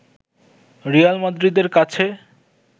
Real মাদ্রিদের কাছে